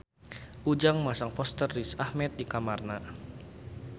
Ujang masang poster Riz Ahmed di kamarna